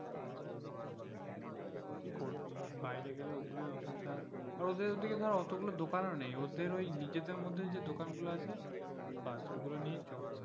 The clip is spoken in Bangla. কি করবি বাইরে গেলে ওই গুলো অসুবিধা হয় ওদের ওদিকে ধর অতগুলো দোকান নেই ওদের ওই নিজেদের মধ্যে যে দোকান গুলো আছে ব্যাস নিয়ে চলে,